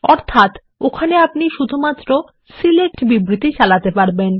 অর্থাত ওখানে আপনি শুধুমাত্র সিলেক্ট বিবৃতি চালাতে পারবেন